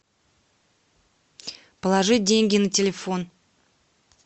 положить деньги на телефон